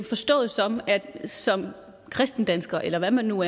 forstået som som kristne danskere eller hvad man nu